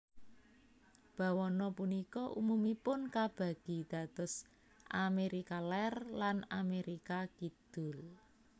Bawana punika umumipun kabagi dados Amérika Lèr lan Amérika Kidul